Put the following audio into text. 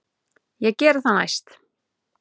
Ég geri það næst.